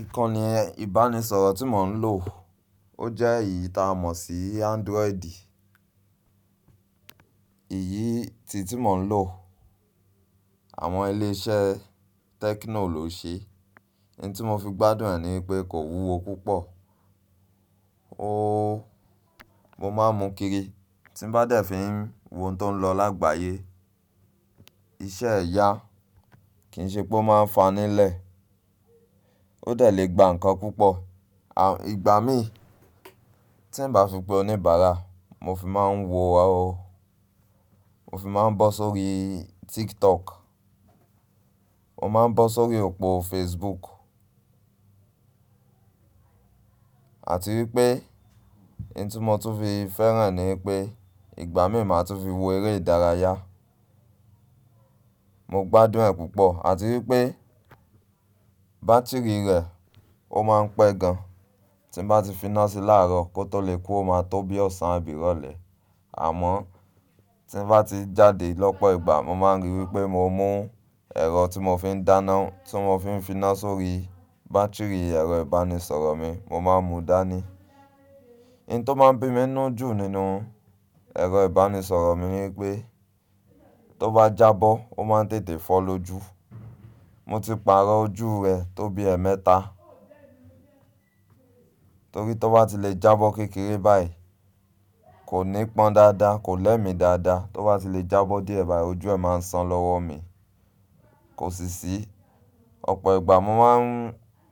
Ìkànnì ìbánisọ̀rọ̀ tí mò ń lò ó jẹ́ èyí taa mọ̀ sí Android. Èyí ti iyi ti mo n lo, àwọn ile iṣẹ́ Tecno lo se, n ti mo fi gbádùn e nipe ko wuwo púpọ̀ mo máa ń mu kiri tí n bá dẹ̀ fi ń wo ohun tó ń lọ lágbàyé. Iṣẹ́ ẹ̀ ya, kì í ṣe pé ó máa ń fanilẹ́. Ó dẹ̀ lè gba nǹkan púpọ̀. Ìgbà mii, ti n ba fi pe oníbàárà, mo fi maa n wo, mo fi maa n bo sórí TikTok, mo maa n bo si orí opo Facebook àti wípé ohun tí mo tún fi fẹ́ràn e ni pé ìgbà mí máa tún fi wo eré ìdárayá. Mo gbádùn ẹ̀ púpọ̀, àti wípé bátírì rẹ̀ ó máa ń pẹ́ gan. Tí bá ti finá sí láàrọ̀ kó tó lè kú ó máa tó bí ọ̀sán àbí ìrọ̀lẹ́. Àmọ́ tí ń bá ti jáde lọ́pọ̀ ìgbà mo máa ń rí wípé mo mú ẹ̀rọ tí mo fi ń dáná tí mo fi ń finá sórí bátírì ẹ̀rọ ìbánisọ̀rọ̀ mi mo máa ń mu dání. Ohun tó máa ń bí mi nínú jù nínú ẹ̀rọ ìbánisọ̀rọ̀ mi ni pé tó bá jábọ́ ó máa ń tètè fọ́ lójú. Mo ti pàrọ̀ ojú rẹ̀ tó bí ẹ̀ẹ̀mẹta. Torí tí ó bá ti lè jábọ́ kékeré báyìí kò ní pọ́n dáadáa, kò lẹ́mi dáadáa. Tó bá ti lè jábọ́ díẹ̀ bá ojú ẹ máa ń san lọ́wọ́ mi. Kò sì sí, ọ̀pọ̀ ìgbà mo máa ń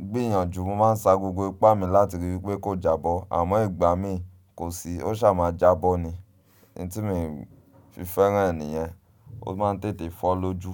gbìyànjú, mo máa ń sa gbogbo ipá mi láti rí i wípé kó jábọ́ àmọ́ ìgbà mí kò sí ó ṣà máa jábọ́ ni. Ohun tí mi o fi fẹ́ràn è nìyẹn, ó máa ń tètè fọ́ lójú.